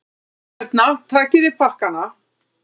Hérna, takiði pakkana!